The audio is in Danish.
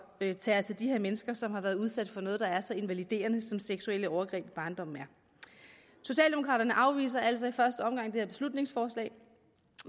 at tage os af de her mennesker som har været udsat for noget der er så invaliderende som seksuelle overgreb i barndommen er socialdemokraterne afviser altså i første omgang det her beslutningsforslag